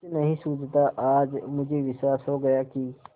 कुछ नहीं सूझता आज मुझे विश्वास हो गया कि